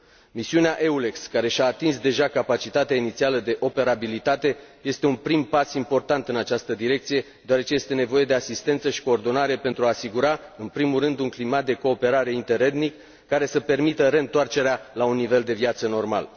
Misiunea EULEX care și a atins deja capacitatea inițială de operabilitate este un prim pas important în această direcție, deoarece este nevoie de asistență și coordonare pentru a asigura, în primul rând, un climat de cooperare interetnic care să permită reîntoarcerea la un nivel de viață normal.